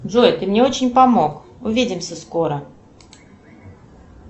джой ты мне очень помог увидимся скоро